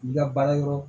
La baara yɔrɔ